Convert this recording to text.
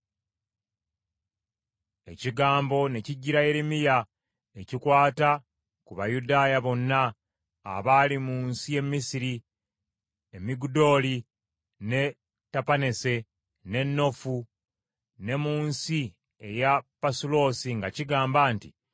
Ekigambo ne kijjira Yeremiya ekikwata ku Bayudaaya bonna abaali mu nsi y’e Misiri e Migudooli n’e Tapaneese n’e Noofu ne mu nsi ey’e Pasuloosi nga kigamba nti,